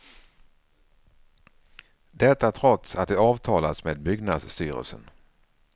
Detta trots att det avtalats med byggnadsstyrelsen.